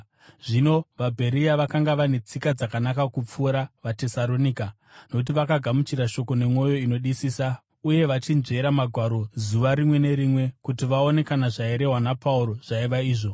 Zvino vaBheria vakanga vane tsika dzakanaka kupfuura vaTesaronika, nokuti vakagamuchira shoko nemwoyo inodisisa uye vachinzvera Magwaro zuva rimwe nerimwe kuti vaone kana zvairehwa naPauro zvaiva izvo.